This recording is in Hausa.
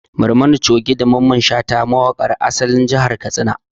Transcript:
Barmani Coge da Mamman Shata mawaƙa ne ƴan asalin jihar Katsina